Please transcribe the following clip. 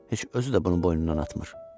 Heç özü də bunun boynundan atmır.